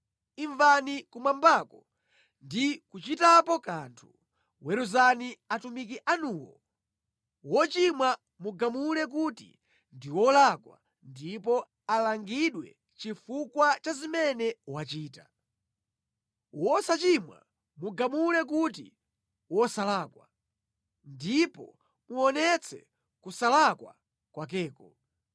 imvani kumwambako ndi kuchitapo kanthu. Weruzani atumiki anuwo, wochimwa mugamule kuti ndi wolakwa ndipo alangidwe chifukwa cha zimene wachita. Wosachimwa mugamule kuti wosalakwa, ndipo muonetse kusalakwa kwakeko.